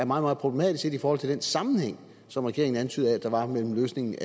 meget problematisk set i forhold til den sammenhæng som regeringen antydede at der var mellem løsningen